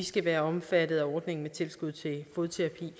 skal være omfattet af ordningen med tilskud til fodterapi